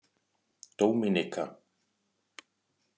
Dóminíka